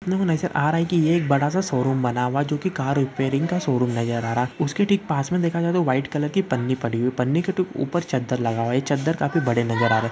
अपने को नज़र आ रहा है कि एक बड़ा सा शो रूम जो की कार रिपेरिंग का शो रूम नज़र आ रहा है उसके ठीक पास में देखा जाए तो वाईट कलर की पन्नी पड़ी हुई पन्नी के ठीक ऊपर चदर लगा हुआ है ये चदर काफी बड़े नज़र आ रहा--